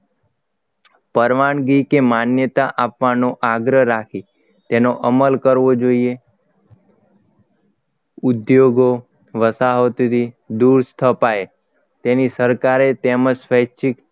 પરવાનગી કે માન્યતા આપવાનો આગ્રહ રાખી તેનો અમલ કરવો જોઈએ ઉદ્યોગો વસાવતીથી દૂર સ્થપાય તેની સરકારે તેમ જ સ્વૈચ્છિક